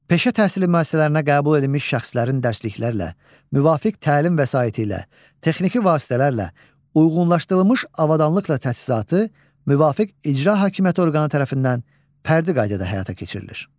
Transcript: Peşə təhsili müəssisələrinə qəbul edilmiş şəxslərin dərsliklərlə, müvafiq təlim vəsaiti ilə, texniki vasitələrlə, uyğunlaşdırılmış avadanlıqla təchizatı müvafiq icra hakimiyyəti orqanı tərəfindən fərdi qaydada həyata keçirilir.